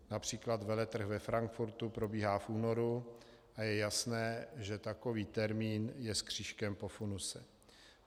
Například veletrh ve Frankfurtu probíhá v únoru a je jasné, že takový termín je s křížkem po funuse.